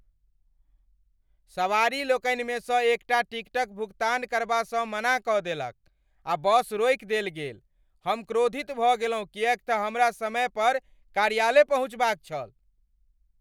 सवारी लोकनिमे सँ एकटा अपन टिकटक भुगतान करबासँ मना कऽ देलक आ बस रोकि देल गेल। हम क्रोधित भऽ गेलहुँ किएक तँ हमरा समय पर कार्यालय पहुँचबाक छल।